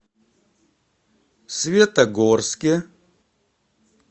светогорске